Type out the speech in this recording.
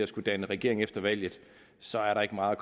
skulle danne regering efter valget så er der ikke meget